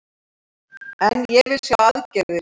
En ég vil sjá aðgerðir